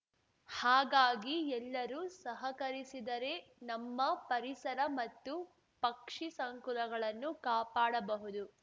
ಹಾಗಾಗಿ ಎಲ್ಲರೂ ಸಹಕರಿಸಿದರೆ ನಮ್ಮ ಪರಿಸರ ಮತ್ತು ಪಕ್ಷಿಸಂಕುಲಗಳನ್ನು ಕಾಪಾಡಬಹುದು